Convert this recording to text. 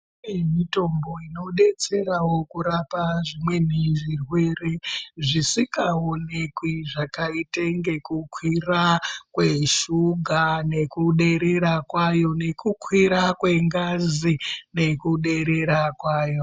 Kune mitombo inodetserawo kurapa zvimweni zvirwere zvisikaoneki zvakaite ngekukwira kweshuga nekuderera kwayo, nekukwira kwengazi nekuderera kwayo.